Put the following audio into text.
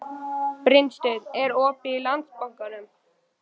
Brynsteinn, er opið í Landsbankanum?